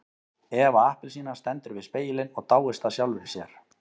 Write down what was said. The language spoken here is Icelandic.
Eva appelsína stendur við spegilinn og dáist að sjálfri sér.